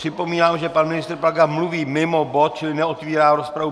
Připomínám, že pan ministr Plaga mluví mimo bod, čili neotevírá rozpravu.